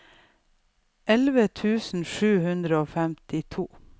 elleve tusen sju hundre og femtito